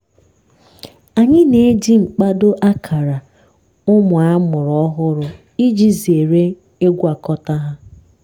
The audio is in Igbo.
anyị na-eji mkpado akara ụmụ amụrụ ọhụrụ iji zere ịgwakọta ha.